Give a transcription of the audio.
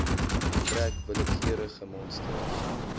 trek willekeurige monsters